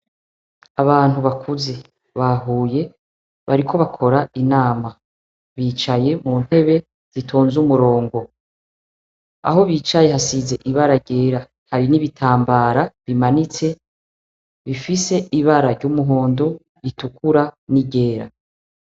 Abantu bakuze bahuye bariko bakora inama bicaye muntebe zitonze umurongo, aho biciye hasize ibara ryera hari n'ibitambara bimanitse bifise ibara ry'umuhondo, ritukura, n'iryera.